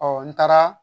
n taara